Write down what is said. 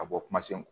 Ka bɔ kuma sen